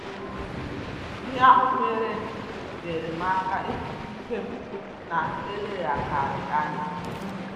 Ihe ahụ mere nyere m aka ịhuta ike m na eleghakari anya